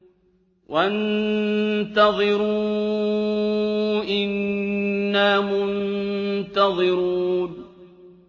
وَانتَظِرُوا إِنَّا مُنتَظِرُونَ